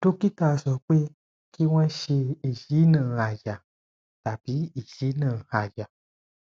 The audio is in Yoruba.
dókítà sọ pé kí wọn ṣe ìyínà àyà tàbí ìyínà àyà